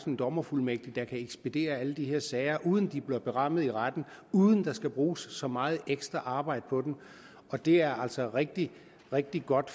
en dommerfuldmægtig der kan ekspedere alle de her sager uden at de bliver berammet i retten og uden der skal bruges så meget ekstra arbejde på dem og det er altså rigtig rigtig godt